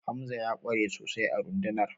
Hamza ya ƙware sosai a rundunar